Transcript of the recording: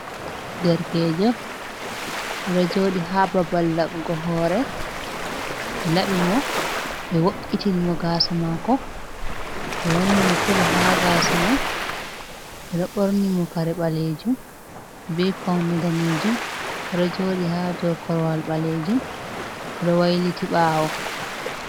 Derkejo rojodi ha babal labgo hore be labbi mo be wo’’itin mo gasa mako be wanni mo kolu ha gasa mai be no borni mo kare balejum ve paunde danejum, ododi ha dow korwal balejum rowayliti bawo.